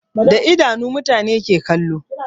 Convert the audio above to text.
Da idanu mutane ke kallo